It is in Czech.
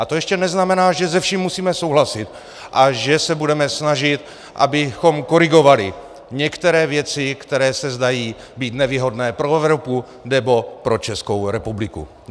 A to ještě neznamená, že se vším musíme souhlasit a že se budeme snažit, abychom korigovali některé věci, které se zdají být nevýhodné pro Evropu nebo pro Českou republiku.